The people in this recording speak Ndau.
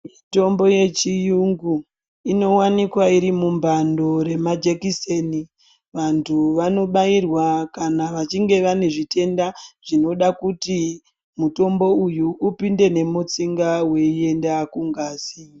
Mitombo yechiuyungu inowanikwa iri mumambando remajekiseni. Vantu vanobairwa kana vachinge vane zvitenda zvinoda kuti mutombo uyu ipinde nemutsinga weienda kungazi.